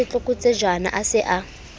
wa setlokotsejana a se a